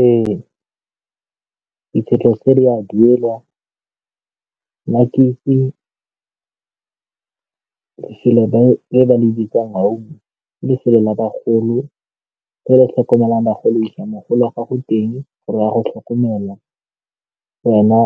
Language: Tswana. Ee, dikgwetlho tse di a duelwa, nna ke itse ba le bitsa home, ke lefelo la bagolo re le tlhokomelang bagolo. Fa o isa mogolo wa gago teng gore ya go tlhokomela gona